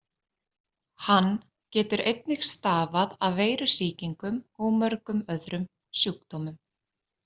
Hann getur einnig stafað af veirusýkingum og mörgum öðrum sjúkdómum.